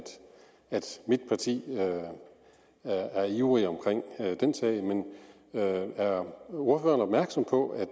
at mit parti er ivrige i den sag men er ordføreren opmærksom på at